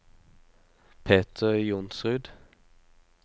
Peter Johnsrud